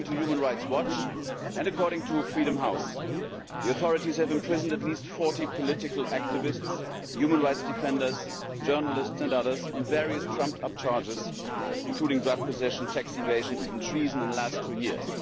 According to Human Rights Watch and according to Freedom House, the authorities have imprisoned at least 40 political activists, human rights defenders, journalists and others, on various trumped up charges including drug possession, tax evasion and even treason in the last two years.